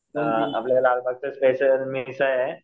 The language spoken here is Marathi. अ आपल्या लालबागचा स्पेशल मिसळ आहे.